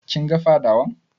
Kin ga fadawan?